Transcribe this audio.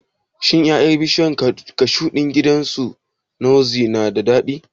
Shin ƴaƴan bishiyar kashu ɗin gidan su Ngozi na da daɗi?